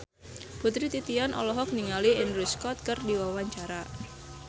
Putri Titian olohok ningali Andrew Scott keur diwawancara